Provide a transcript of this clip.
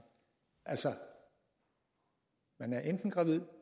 altså man er enten gravid